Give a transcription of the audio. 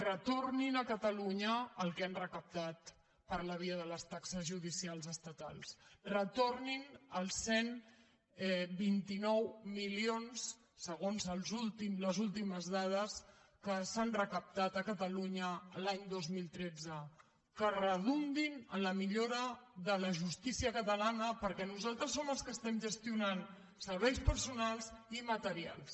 retornin a catalunya el que han recaptat per la via de les taxes judicials estatals retornin els cent i vint nou milions segons les últimes dades que s’han recaptat a catalunya l’any dos mil tretze que redundin en la millora de la justícia catalana perquè nosaltres som els que estem gestionant serveis personals i materials